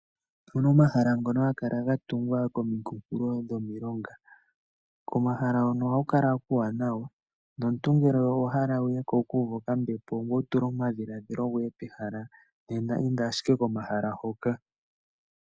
Opu na omahala ngono haga kala ga tungwa komikunkulo dhomilonga. Komahala hono ohaku kala kuuwanawa, nomuntu ngele owa hala wuye ko wuku uve okambepo ngoye wu tule omadhiladhilo goye pehala, inda ashike komahala Hoka.